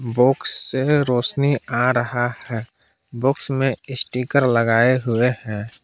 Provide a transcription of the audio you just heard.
Box से रौशनी आ रहा है बॉक्स में स्टीकर लगाए हुए हैं।